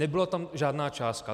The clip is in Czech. Nebyla tam žádná částka.